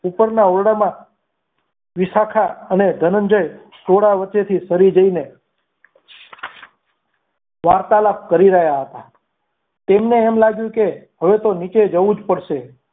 ઉપરના ઓરડામાં વિશાખા અને ધનંજય ટોળા વચ્ચેથી સરી જઈને વાર્તાલાપ કરી રહ્યા હતા તેમને એમ લાગ્યું કે હવે તો નીચે જવું જ પડશે.